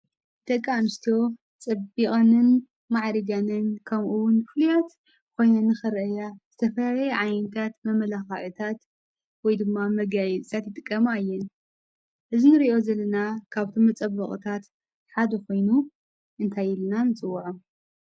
ደቂ አንስትዮ ፀቢቀንን ማዕሪገንን ከምኡ እውን ፍሉያት ኮይነን ንክረአያ ዝተፈላለየ ዓይነታት መማላክዕታት ወይ ድማ መጋየፅታት ይጥቀማ እየን። እዚ እንሪኦ ዘለና ካብዞም መፀበቅታት ሓደ ኮይኑ እንታይ ኢልና ንፅዎዕ?